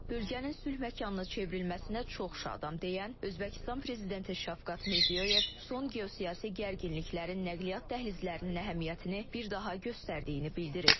Bölgənin sülh məkanına çevrilməsinə çox şadam deyən Özbəkistan prezidenti Şəfqət Mirzəyoyev son geosiyasi gərginliklərin nəqliyyat dəhlizlərinin əhəmiyyətini bir daha göstərdiyini bildirib.